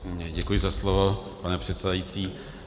Děkuji za slovo, pane předsedající.